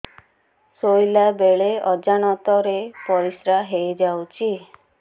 ଶୋଇଲା ବେଳେ ଅଜାଣତ ରେ ପରିସ୍ରା ହେଇଯାଉଛି